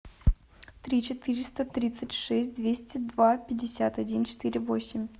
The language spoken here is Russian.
три четыреста тридцать шесть двести два пятьдесят один четыре восемь